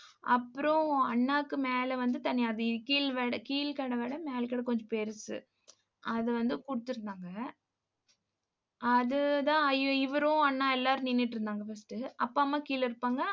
அப்புறம், அண்ணாக்கு மேல வந்து தனியா வீ~ கீழ்வட கீழ்கடை மேல கட கொஞ்சம் பெருசு. அது வந்து கொடுத்திருந்தாங்க. அதுதான் ஐயோ இவரும் அண்ணா எல்லாரும் நின்னுட்டு இருந்தாங்க first அப்பா அம்மா கீழே இருப்பாங்க.